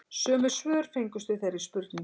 Sömu svör fengust við þeirri spurningu